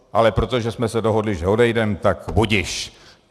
Ale protože jsme se dohodli, že odejdeme, tak budiž.